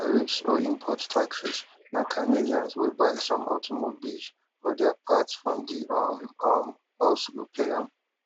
di tariffs or import taxes na canadians wey buy some automobiles or dia parts from di um um us go pay am